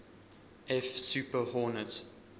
f super hornet